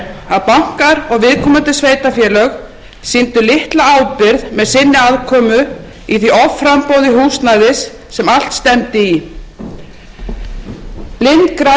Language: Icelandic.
og viðkomandi sveitarfélög sýndu litla ábyrgð með sinni aðkomu í því offramboði húsnæðis sem allt stefndi í blind græðgi og fyrirhyggjuleysi rak opinbera jafnt sem einkaaðila